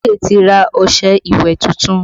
Ige ti ra ọṣẹ ìwẹ̀ tuntun